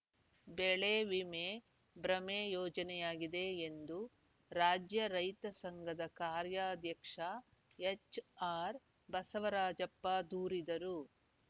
ಬೆಳೆ ವಿಮೆ ಭ್ರಮೆ ಯೋಜನೆಯಾಗಿದೆ ಎಂದು ರಾಜ್ಯ ರೈತ ಸಂಘದ ಕಾರ್ಯಾಧ್ಯಕ್ಷ ಎಚ್‌ ಆರ್‌ ಬಸವರಾಜಪ್ಪ ದೂರಿದರು